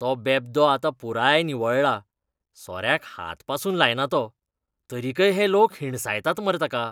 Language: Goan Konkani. तो बेब्दो आतां पुराय निवळ्ळा, सोऱ्याक हात पासून लायना तो, तरीकय हे लोक हिणसायतात मरे ताका.